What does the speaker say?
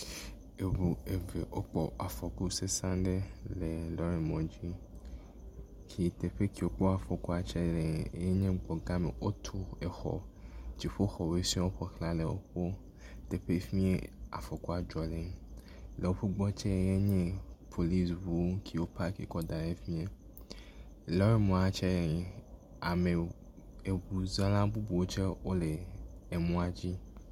Eŋu eve wokpɔ afɔku sesẽ aɖe le lɔrimɔdzi si teƒe ke wokpɔ afɔkua le nye gbɔgãme, wotu exɔ dziƒoxɔwo sɔŋ koe le teƒe fimie afɔkua dzɔ le, le woƒe gbɔ tse nye polisi ŋu siwo park ɖe efi mie. Yamea tse, ame..eŋuzala bubuwo tse le emɔa dzi.